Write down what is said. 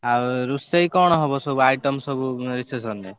ଆଉ ରୋଷେଇ କଣ ହବ ସବୁ item ସବୁ reception ରେ?